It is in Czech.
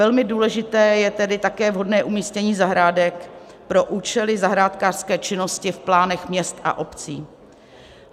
Velmi důležité je tedy také vhodné umístění zahrádek pro účely zahrádkářské činnosti v plánech měst a obcí.